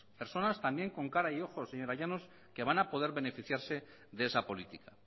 persona también con cara y ojo señora llanos que van a poder beneficiarse de esa política